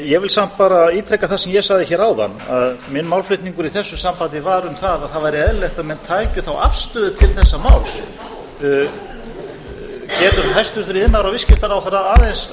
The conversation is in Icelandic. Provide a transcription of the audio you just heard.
ég vil samt bara ítreka það sem ég sagði hér áðan að minn málflutningur í þessu sambandi var um það að það væri eðlilegt að menn tækju afstöðu til þessa máls getur hæstvirtur iðnaðar og viðskiptaráðherra aðeins